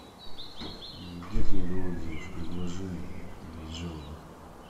где книга отзывов и предложений есть жалоба